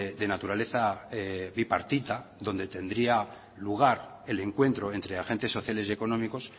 de naturaleza bipartita donde tendría lugar el encuentro entre agentes sociales y económicos